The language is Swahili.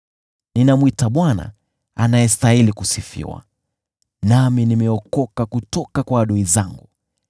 Ninamwita Bwana anayestahili kusifiwa, nami ninaokolewa kutoka kwa adui zangu.